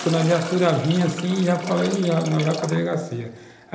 Quando a viatura vinha, assim, já falei, já, não vai para a delegacia.